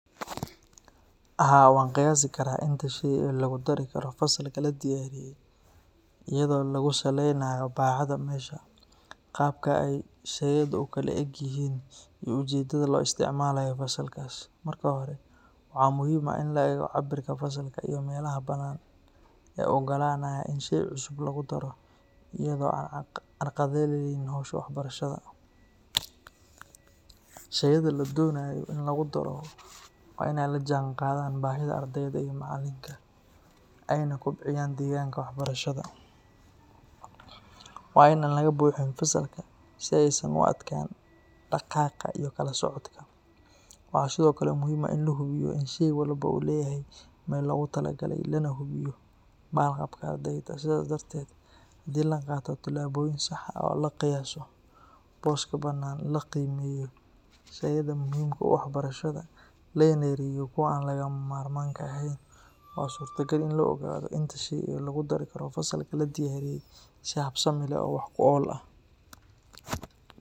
Haa, waan qiyaasi karaa inta shay ee lagu dari karo fasalka la diyaariyey iyadoo lagu salaynayo baaxadda meesha, qaabka ay shayadu u kala le'eg yihiin, iyo ujeedada loo isticmaalayo fasalkaas. Marka hore, waxaa muhiim ah in la eego cabbirka fasalka iyo meelaha banaan ee bannaan ee u oggolaanaya in shay cusub lagu daro iyadoo aan carqaladaynayn hawsha waxbarashada. Shayada la doonayo in lagu daro waa in ay la jaanqaadaan baahida ardayda iyo macallinka, ayna kobciyaan deegaanka waxbarashada. Waa in aan laga buuxin fasalka si aysan u adkaan dhaqaaqa iyo kala socodka. Waxaa sidoo kale muhiim ah in la hubiyo in shay walba uu leeyahay meel loogu talagalay, lana hubiyo badqabka ardayda. Sidaas darteed, haddii la qaato tillaabooyin sax ah, oo la qiyaaso booska bannaan, la qiimeeyo shayada muhiimka u ah waxbarashada, lana yareeyo kuwa aan lagama maarmaanka ahayn, waa suurtagal in la ogaado inta shay ee lagu dari karo fasalka la diyaariyey si habsami leh oo wax ku ool ah.